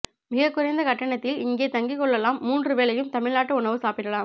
மிகக்குறைந்த கட்டணத்தில் இங்கே தங்கிக் கொள்ளலாம் மூன்று வேளையும் தமிழ்நாட்டு உணவு சாப்பிடலாம்